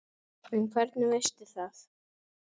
En hvernig veistu það?